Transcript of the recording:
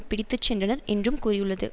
பிடித்து சென்றனர் என்றும் கூறியுள்ளது